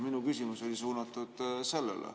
Minu küsimus oli suunatud sellele.